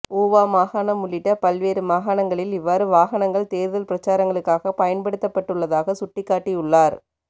ஊவா மாகாணம் உள்ளிட்ட பல்வேறு மாகாணங்களில் இவ்வாறு வாகனங்கள் தேர்தல் பிரச்சாரங்களுக்காக பயன்படுத்தப்பட்டுள்ளதாக சுட்டிகாட்டிள்ளார்